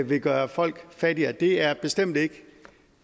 vil gøre folk fattigere det er bestemt ikke